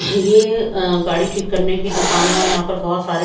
ये अह गाड़ी ठीक करने की दुकान है और यहां पर बहुत सारे--